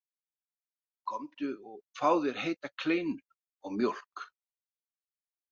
Komdu og fáðu þér heita kleinu og mjólk.